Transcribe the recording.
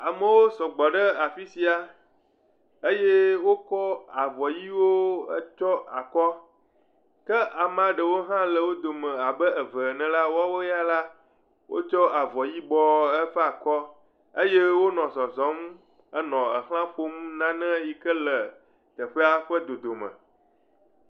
Amewo sɔgbɔ ɖe afi sia eye wokɔ avɔ ʋɛ̃wo tsyɔ akɔ, ke amea ɖewo hã le wo dome abe eve ene la, woawo ya la, wotsɔ avɔ yibɔ etsyɔ akɔ eye wonɔ zɔzɔm henɔ exla ƒom nane yike le teƒea ƒe dodome.